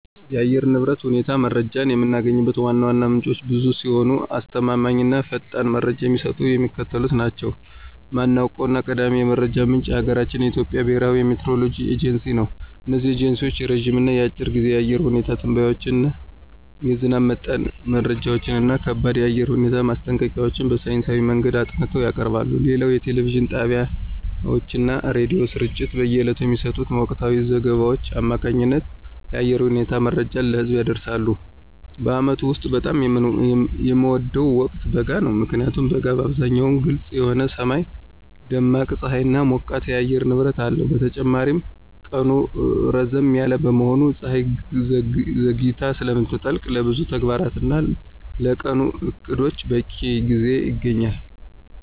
የአየር ንብረት ሁኔታ መረጃን የምናገኝባቸው ዋና ዋና ምንጮች ብዙ ሲሆኑ፣ አስተማማኝ እና ፈጣን መረጃ የሚሰጡት የሚከተሉት ናቸው ዋናውና ቀዳሚው የመረጃ ምንጭ የሀገራችን የኢትዮጵያ ብሔራዊ የሚቲዎሮሎጂ ኤጀንሲ ነው። እነዚህ ኤጀንሲዎች የረጅም እና የአጭር ጊዜ የአየር ሁኔታ ትንበያዎችን፣ የዝናብ መጠን መረጃዎችን እና ከባድ የአየር ሁኔታ ማስጠንቀቂያዎችን በሳይንሳዊ መንገድ አጥንተው ያቀርባሉ። ሌላው የቴሌቪዥን ጣቢያዎችና የሬዲዮ ስርጭቶች በየዕለቱ በሚሰጡት ወቅታዊ ዘገባዎች አማካኝነት የአየር ሁኔታ መረጃን ለህዝብ ያደርሳሉ። በዓመቱ ውስጥ በጣም የምወደው ወቅት በጋ ነው። ምክንያቱም በጋ በአብዛኛው ግልጽ የሆነ ሰማይ፣ ደማቅ ፀሐይና ሞቃታማ የአየር ንብረት አለው። በተጨማሪም ቀኑ ረዘም ያለ በመሆኑና ፀሐይ ዘግይታ ስለምትጠልቅ፣ ለብዙ ተግባራትና ለቀኑ ዕቅዶች በቂ ጊዜ ይገኛል።